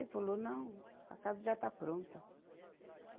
Ele falou, não, a casa já está pronta.